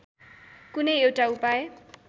कुनै एउटा उपाय